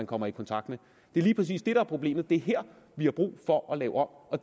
kommer i kontakt med det er lige præcis det der er problemet det er her vi har brug for at lave om og